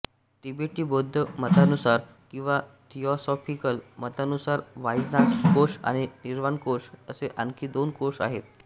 तिबेटी बौद्ध मतानुसार किंवा थिऑसॉफिकल मतानुसार वासनाकोश आणि निर्वाणकोश असे आणखी दोन कोश आहेत